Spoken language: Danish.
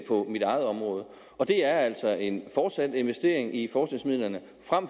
på mit eget område det er altså en fortsat investering i forskningsmidlerne